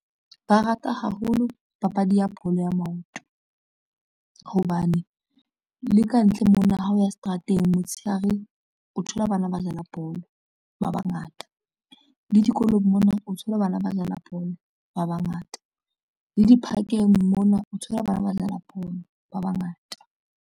Ba rata haholo papadi ya bolo ya maoto, hobane le kantle mona ha o ya seterateng motshehare o thola bana ba dlala bolo ba bangata, le dikolong mona o thole bana ba dlala bolo ba bangata, le diphakeng mona o thola bana ba dlala bolo ba bangata.